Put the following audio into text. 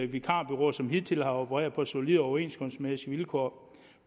vikarbureauer som hidtil har opereret på solide overenskomstmæssige vilkår